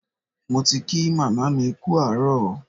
Mo ti kí màmá mi kú àárọ̀.